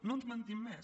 no ens mentim més